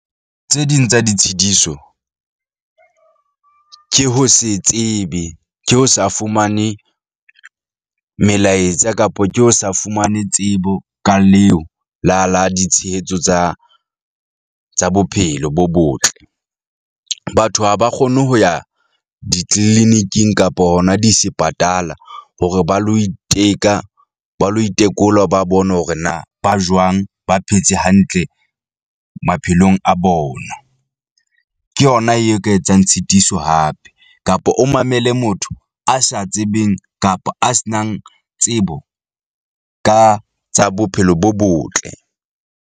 Tse ding tsa ditshitiso ke ho se tsebe ke ho sa fumane melaetsa kapa ke ho sa fumane tsebo ka leo la la ditshehetso tsa tsa bophelo bo botle. Batho ha ba kgone ho ya di-clinic-ing kapa hona disepatala hore ba lo iteka ba lo itekola ba bone hore na ba jwang ba phetse hantle maphelong a bona. Ke yona eo ka etsang tshitiso hape, kapa o mamele motho a sa tsebeng kapa a se nang tsebo ka tsa bophelo bo botle.